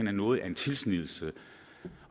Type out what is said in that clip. er noget af en tilsnigelse